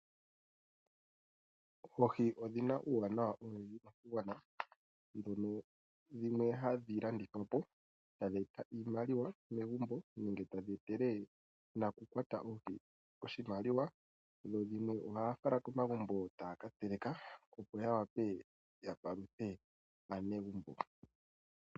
Oohi odhi na uuwanawa owundji koshigwana, ndhono dhimwe hadhi landithwa po, etadhi eta iimaliwa megumbo, nenge tadhi etele nakukwata oohi, oshimaliwa. Dhimwe ohaya fala komagumbo, etaya kateleka, opo ya wape yapaluthe aanegumbo.